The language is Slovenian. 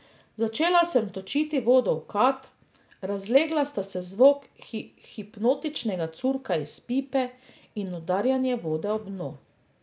Začela sem točiti vodo v kad, razlegla sta se zvok hipnotičnega curka iz pipe in udarjanje vode ob dno.